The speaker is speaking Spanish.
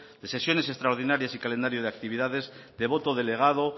de sesiones extraordinarias y calendario de actividades de voto delegado